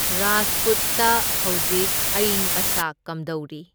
ꯔꯥꯖꯄꯨꯠꯇ ꯍꯧꯖꯤꯛ ꯑꯌꯤꯡ ꯑꯁꯥ ꯀꯝꯗꯧꯔꯤ?